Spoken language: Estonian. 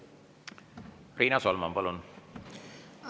Riina Solman, palun!